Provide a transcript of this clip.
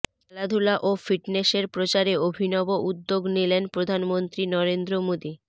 খেলাধূলা ও ফিটনেসের প্রচারে অভিনব উদ্যোগ নিলেন প্রধানমন্ত্রী নরেন্দ্র মোদী